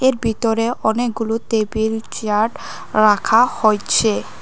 এর ভিতরে অনেকগুলো তেবিল চেয়ার রাখা হইছে।